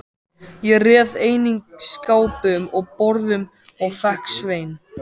Ég réð einnig skápum og borðum og fékk Svein